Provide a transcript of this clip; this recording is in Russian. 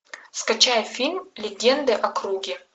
скачай фильм легенды о круге